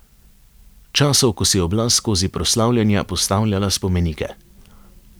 Časov, ko si je oblast skozi proslavljanja postavljala spomenike.